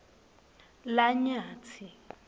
lanyatsi